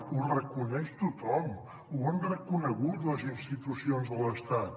ho reconeix tothom ho han reconegut les institucions de l’estat